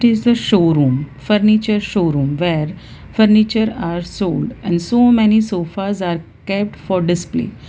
it is a showroom furniture showroom where furniture are sold and so many sofas are kept for display.